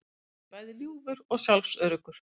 Hann sé bæði ljúfur og sjálfsöruggur